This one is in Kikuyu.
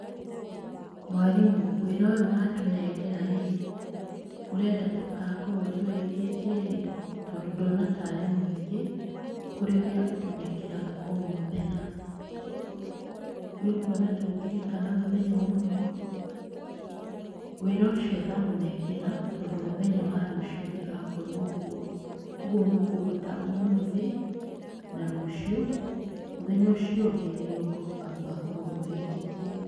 Mwarimũ wĩra ũyũ watũnengera rĩ, ũrenda tũgakorwo tũrĩkĩtie rĩ? Tondũ ndona tarĩ mũingĩ gũkĩra ũria ũtũnengeraga o mũthenya, nĩ ũkuona ta ũngĩrĩka na mũthenya ũmwe? Wĩra ũcio ndamunengera tondũ rũciũ ndigakorwo kuo, ũguo mũkũũruta ũmuthĩ na rũciũ mũthenya ũcio ũngĩ nĩrĩo ngoka mũgakorwo mũrĩkĩtie.